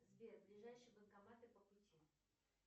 сбер ближайшие банкоматы по пути